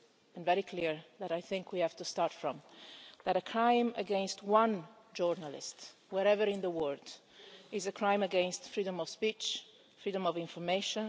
and very clear that I think we have to start from, namely that a crime against one journalist, wherever in the world, is a crime against freedom of speech and freedom of information.